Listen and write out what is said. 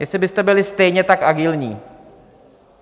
Jestli byste byli stejně tak agilní?